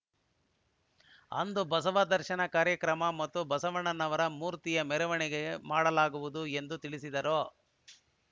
ಅಂದು ಬಸವ ದರ್ಶನ ಕಾರ್ಯಕ್ರಮ ಮತ್ತು ಬಸವಣ್ಣನವರ ಮೂರ್ತಿಯ ಮೆರವಣಿಗೆ ಮಾಡಲಾಗುವುದು ಎಂದು ತಿಳಿಸಿದರು